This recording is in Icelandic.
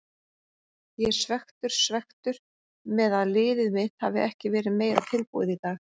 Ég er svekktur, svekktur með að liðið mitt hafi ekki verið meira tilbúið í dag.